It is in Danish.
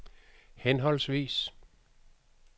henholdsvis